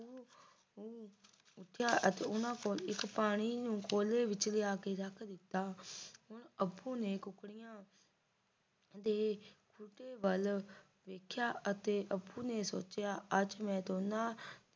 ਉਠਿਆ ਤੇ ਅਤੇ ਇੱਕ ਪਾਣੀ ਨੂੰ ਕੋਲੇ ਵਿੱਚ ਲਿਆ ਕੇ ਰੱਖ ਦਿੱਤਾ ਹੁਣ ਅਪੁ ਨੇ ਕੁੱਕੜੀਆਂ ਦੇ ਵੱਲ ਵੇਖਿਆ ਤੇ ਅਪੁ ਨੇ ਅੱਜ ਮੈਂ ਦੋਨਾਂ